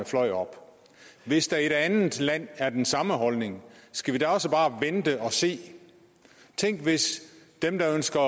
fløj op hvis der i det andet land er den samme holdning skal vi da også bare vente og se tænk hvis dem der ønsker